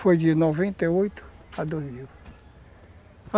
Foi de noventa e oito a dois mil